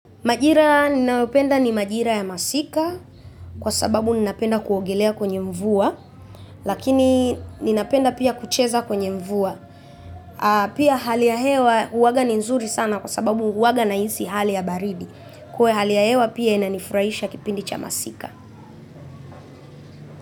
Majira ninayopenda ni majira ya masika kwa sababu ninapenda kuogelea kwenye mvua lakini ninapenda pia kucheza kwenye mvua. Pia hali ya hewa huwaga ni nzuri sana kwa sababu huwaga nahisi hali ya baridi. Kwa hali ya hewa pia inanifurahisha kipindi cha masika.